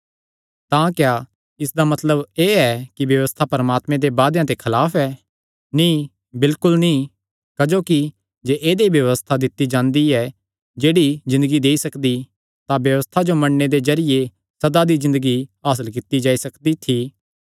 तां क्या इसदा मतलब एह़ ऐ कि व्यबस्था परमात्मे दे वादेयां दे खलाफ ऐ नीं बिलकुल नीं क्जोकि जे ऐदई व्यबस्था दित्ती जांदी जेह्ड़ी ज़िन्दगी देई सकदी तां व्यबस्था जो मन्नणे दे जरिये सदा दी ज़िन्दगी हासल कित्ती जाई सकदी थी